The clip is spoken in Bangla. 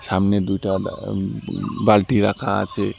সামনে দুইটা আব ব বালতি রাখা আছে।